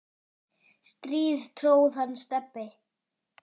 strý tróð hann Stebbi